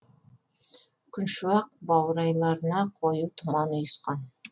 күншуақ баурайларына қою тұман ұйысқан